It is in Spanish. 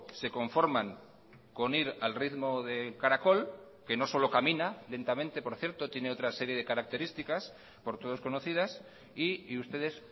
se conforman con ir al ritmo de caracol que no solo camina lentamente por cierto tiene otra serie de características por todos conocidas y ustedes